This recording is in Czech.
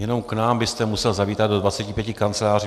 Jenom k nám byste musel zavítat do 25 kanceláří.